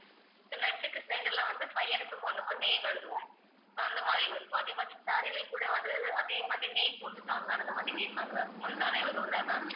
so net க்கு center ல வந்து பையனுக்கு பொண்ணுக்கு name எழுதுவோம் so அந்த மாதிரி இருக்கும் அதே மாதிரி saree லயும் கூட வந்து அதே மாதிரி name போட்டுத்தாங்க அந்த மாதிரி கேப்பாங்க முந்தானை வரும்ல ma'am